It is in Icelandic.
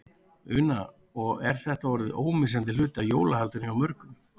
Una: Og er þetta orðið ómissandi hluti af jólahaldinu hjá mörgum?